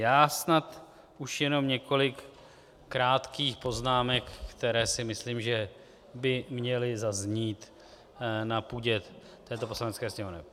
Já snad už jenom několik krátkých poznámek, které si myslím, že by měly zaznít na půdě této Poslanecké sněmovny.